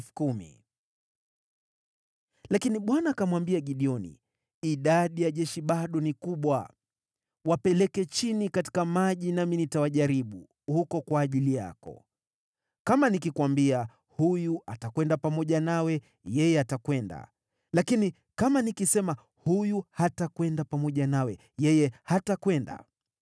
Lakini Bwana akamwambia Gideoni, “Idadi ya jeshi bado ni kubwa. Wapeleke chini katika maji nami nitawajaribu huko kwa ajili yako. Kama nikikuambia, ‘Huyu atakwenda pamoja nawe,’ yeye atakwenda; lakini kama nikisema, ‘Huyu hatakwenda pamoja nawe,’ yeye hatakwenda.”